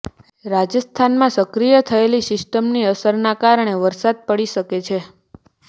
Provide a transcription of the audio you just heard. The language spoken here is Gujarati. રાજસ્થાનમાં સક્રિય થયેલી સિસ્ટમની અસરના કારણે વરસાદ પડી શકે છે